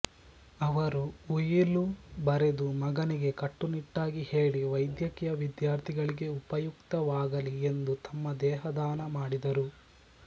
ಅವರು ಉಯಿಲು ಬರೆದು ಮಗನಿಗೆ ಕಟ್ಟುನಿಟ್ಟಾಗಿ ಹೇಳಿ ವೈದ್ಯಕೀಯ ವಿದ್ಯಾರ್ಥಿಗಳಿಗೆ ಉಪಯುಕ್ತವಾಗಲಿ ಎಂದು ತಮ್ಮ ದೇಹದಾನ ಮಾಡಿದರು